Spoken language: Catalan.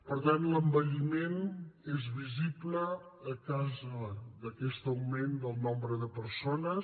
per tant l’envelliment és visible a causa d’aquest augment del nombre de persones